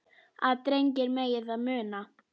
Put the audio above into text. að drengir megi það muna